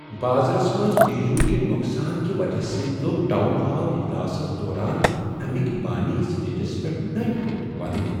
بازرس منٛز بیجو کہ نقصان کہ وجہ سۭتۍ لوٚگ ٹاون ہال اجلاسس دوران امیک بانی سٹیجس پیٹھ نٔنۍ پٲٹھۍ ودنہ۔